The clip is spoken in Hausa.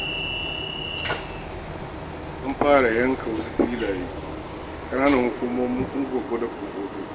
An fara yanka wasu filaye a ƙananan hukumomin Ungwaggo da Kumbotso.